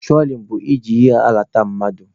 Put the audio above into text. Trolin bụ i ji ihe na-alata mmadụ.